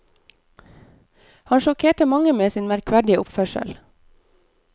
Han sjokkerte mange med sin merkverdige oppførsel.